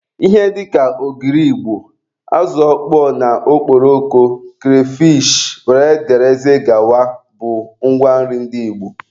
Ihe dịka ogiri igbo, azụ ọkpọọ na okporoko, kreyfishi wdg bụ ngwa nri ndị igbo